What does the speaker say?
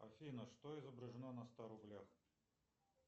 афина что изображено на ста рублях